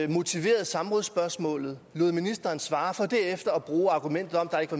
motiverede samrådsspørgsmålet og lod ministeren svare for derefter at bruge argumentet om